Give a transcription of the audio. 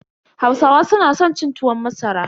Hausawa su na san cin tuwon masara.